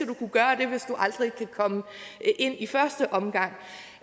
du kunne gøre det hvis du aldrig kan komme ind i første omgang